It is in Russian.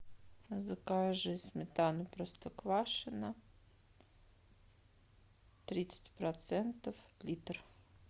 закажи сметану простоквашино тридцать процентов литр